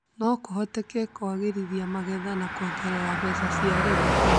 no kũhote kũagĩrithia magetha na kuongerera mbeca cia arĩmi.